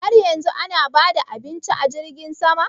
Har yanzu ana ba da abincin a jirgin sama?